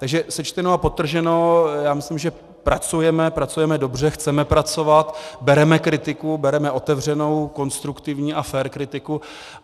Takže sečteno a podtrženo, já myslím, že pracujeme, pracujeme dobře, chceme pracovat, bereme kritiku, bereme otevřenou, konstruktivní a fér kritiku.